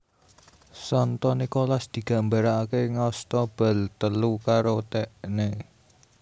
Santo Nikolas digambaraké ngasta bal telu karo tekené